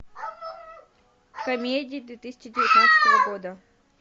комедии две тысячи девятнадцатого года